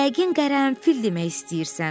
Yəqin qərənfil demək istəyirsən.